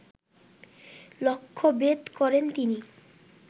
লক্ষ্যভেদ করেন তিনি